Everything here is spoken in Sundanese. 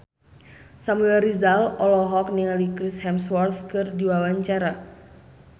Samuel Rizal olohok ningali Chris Hemsworth keur diwawancara